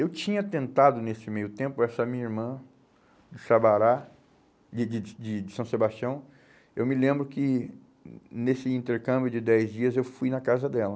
Eu tinha tentado nesse meio tempo, essa minha irmã do Sabará, de de de de de São Sebastião, eu me lembro que hum nesse intercâmbio de dez dias eu fui na casa dela.